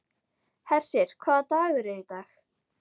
Hersir, hvaða dagur er í dag?